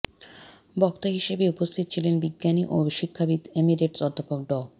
বক্তা হিসেবে উপস্থিত ছিলেন বিজ্ঞানী ও শিক্ষাবিদ এমেরিটাস অধ্যাপক ড